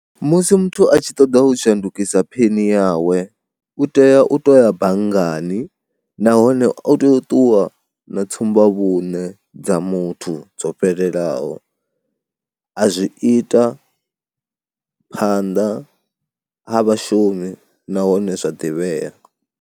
Musi muthu a tshi ṱoḓa u shandukisa pheni yawe u tea u to ya banngani nahone u tea u ṱuwa na tsumbavhuṋe dza muthu dzo fhelelaho, a zwi ita phanḓa ha vhashumi nahone zwa ḓivhea.